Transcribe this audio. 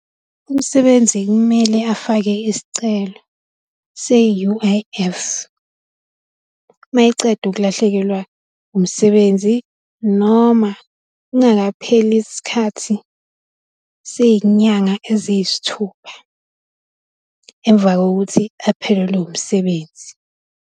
Umsebenzi kumele afake isicelo se-U_I_F mayeqeda ukulahlekelwa umsebenzi, noma kungakapheli isikhathi sey'nyanga eziyisithupha emva kokuthi aphelelwe umsebenzi.